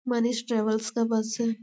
Manish travels का bus है।